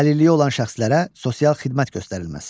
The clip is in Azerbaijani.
Əlilliyi olan şəxslərə sosial xidmət göstərilməsi.